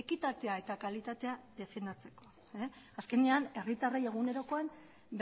ekitatea eta kalitatea defendatzeko azkenean herritarrei egunerokoan